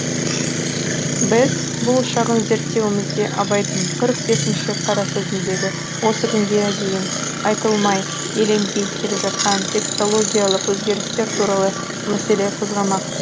біз бұл шағын зерттеуімізде абайдың қырық бесінші қарасөзіндегі осы күнге дейін айтылмай еленбей келе жатқан текстологиялық өзгерістер туралы мәселе қозғамақпыз